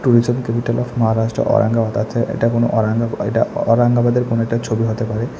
Tourism capital of Maharashtra Aurangabad আছে এটা কোনো ঔরঙ্গা এটা ঔরঙ্গাবাদের কোনো একটা ছবি হতে পারে।